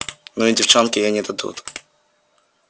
ну и девчонки ей не дадут